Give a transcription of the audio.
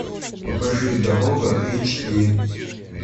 покажи дорога эйч ди